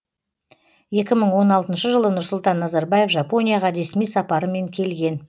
екі мың он алтыншы жылы нұрсұлтан назарбаев жапонияға ресми сапарымен келген